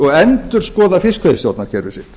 og endurskoða fiskveiðistjórnarkerfið sitt